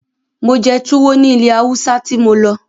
Mo jẹ́ tuwo ní ilẹ̀ Haúsá tí mo lọ.